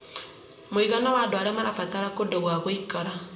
mũigana wa andũ arĩa marabatara kũndũ gwa gũikara